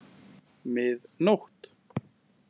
Mið nótt!